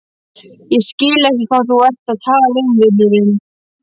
Ég skil ekki hvað þú ert að tala um, vinurinn.